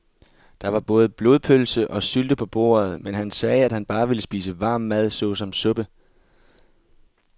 Der var både blodpølse og sylte på bordet, men han sagde, at han bare ville spise varm mad såsom suppe.